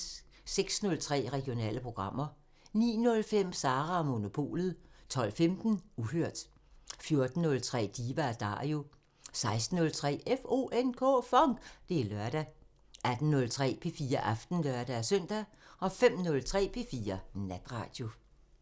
06:03: Regionale programmer 09:05: Sara & Monopolet 12:15: Uhørt 14:03: Diva & Dario 16:03: FONK! Det er lørdag 18:03: P4 Aften (lør-søn) 05:03: P4 Natradio